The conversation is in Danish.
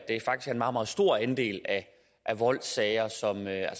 at meget meget stor andel af voldssager altså sager